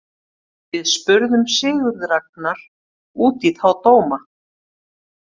Við spurðum Sigurð Ragnar út í þá dóma.